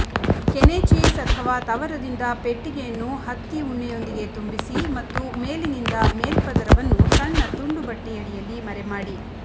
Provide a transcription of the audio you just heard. ಕೆನೆ ಚೀಸ್ ಅಥವಾ ತವರದಿಂದ ಪೆಟ್ಟಿಗೆಯನ್ನು ಹತ್ತಿ ಉಣ್ಣೆಯೊಂದಿಗೆ ತುಂಬಿಸಿ ಮತ್ತು ಮೇಲಿನಿಂದ ಮೇಲ್ಪದರವನ್ನು ಸಣ್ಣ ತುಂಡು ಬಟ್ಟೆಯಡಿಯಲ್ಲಿ ಮರೆಮಾಡಿ